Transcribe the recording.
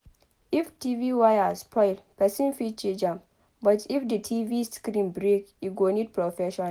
If TV wire spoil person fit change am but if di TV screen break e go need professional